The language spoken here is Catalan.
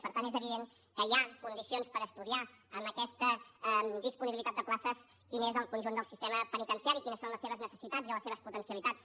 per tant és evident que hi ha condicions per estudiar amb aquesta disponibilitat de places quin és el conjunt del sistema penitenciari quines són les seves necessitats i les seves potencialitats